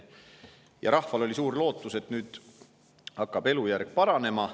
Ja rahval oli suur lootus, et nüüd hakkab elujärg paranema.